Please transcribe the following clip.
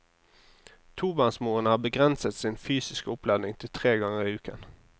Tobarnsmoren har begrenset sin fysiske oppladning til tre ganger i uken.